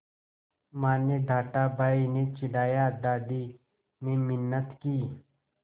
माँ ने डाँटा भाई ने चिढ़ाया दादी ने मिन्नत की